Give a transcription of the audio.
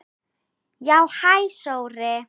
Já, hæ Sóri.